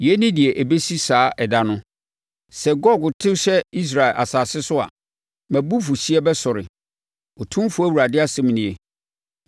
Yei ne deɛ ɛbɛsi saa ɛda no. Sɛ Gog to hyɛ Israel asase so a, mʼabufuhyeɛ bɛsɔre, Otumfoɔ Awurade asɛm nie.